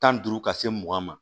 Tan ni duuru ka se mugan ma